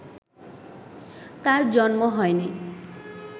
তাঁর জন্ম হয়নি